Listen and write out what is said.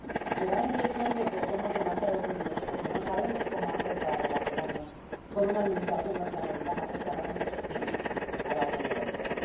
Me da la impresión de que somos demasiado tímidos porque no sabemos cómo hacer para relacionarnos con una Administración norteamericana que es claramente hostil a la Unión Europea.